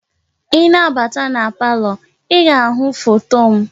I na-abata na palọ, i ga-ahụ foto m.